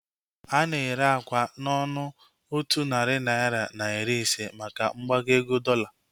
Ana ere akwa n'ọnụ otu narị naira na iri ise maka mgbago ego dọola.